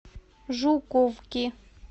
жуковки